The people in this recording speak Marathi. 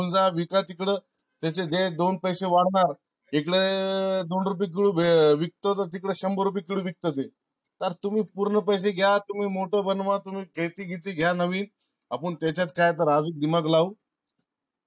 जा विका तिकड त्याचे जे दोन पैसे वाढणार इकड दोन रुपये किलो विकत तर ते तिकड शंभर रुपये किलो विकत ते. तर तुम्ही पूर्ण पैसे घ्या. तुम्ही मोठ बनवा. तुम्ही शेती बेती घ्या नवीन. अपुन तेच्यात आजूक काय तर दिमाग लावू.